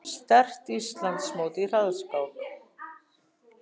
Sterkt Íslandsmót í hraðskák